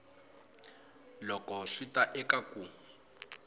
loko swi ta eka ku